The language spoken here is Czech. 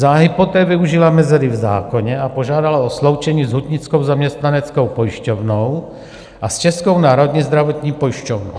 Záhy poté využila mezery v zákoně a požádala o sloučení s Hutnickou zaměstnaneckou pojišťovnou a s Českou národní zdravotní pojišťovnou.